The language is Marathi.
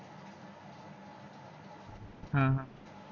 ह ह